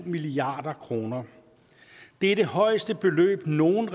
milliard kroner det er det højeste beløb nogen